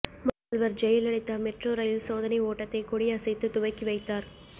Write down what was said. முதல்வர் Jayalalithaa metro rail சோதனை ஓட்டத்தை கொடி அசைத்து துவக்கி வைத்தார்